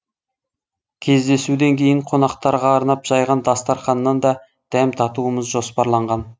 кездесуден кейін қонақтарға арнап жайған дастарқаннан да дәм татуымыз жоспарланған